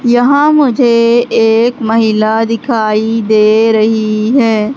यहां मुझे एक महिला दिखाई दे रही है।